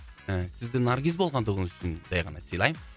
ы сізді наргиз болғандығыңыз үшін жай ғана сыйлаймын